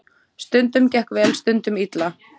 Stundum gekk vel, stundum illa.